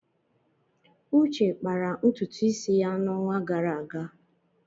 Uche kpara ntutu isi ya n'ọnwa gara aga.